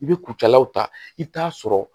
I bɛ kucalaw ta i bɛ t'a sɔrɔ